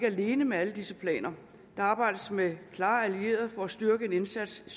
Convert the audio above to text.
alene med alle disse planer der arbejdes med klare allierede for at styrke indsatsen